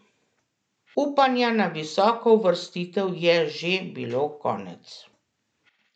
Upanja na visoko uvrstitev je že bilo konec.